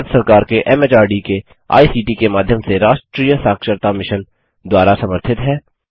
भारत सरकार के एमएचआरडी के आईसीटी के माध्यम से राष्ट्रीय साक्षरता मिशन द्वारा समर्थित है